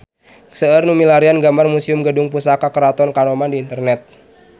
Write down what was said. Seueur nu milarian gambar Museum Gedung Pusaka Keraton Kanoman di internet